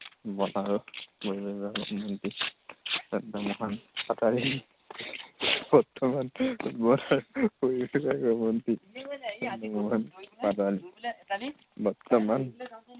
বৰ্তমান বন বিভাগৰ মন্ত্ৰী চন্দ্ৰমোহন পাটোৱাৰী বৰ্তমান বন আৰু পৰিৱেশ বিভাগৰ মন্ত্ৰী চন্দ্ৰমোহন পাটোৱাৰী। বৰ্তমান